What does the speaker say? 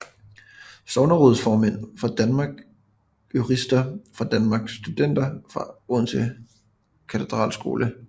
Sognerådsformænd fra Danmark Jurister fra Danmark Studenter fra Odense Katedralskole